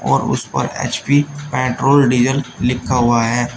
और उसपर HP petrol diesel लिखा हुआ है।